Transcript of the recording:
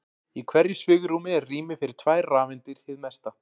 Í hverju svigrúmi er rými fyrir tvær rafeindir hið mesta.